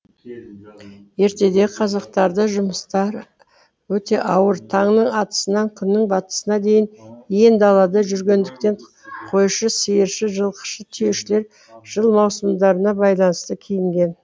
ертедегі қазақтарда жұмыстары өте ауыр таңның атысынан күннің батысына дейін иен далада жүргендіктен қойшы сиыршы жылқышы түйешілер жыл маусымдарына байланысты киінген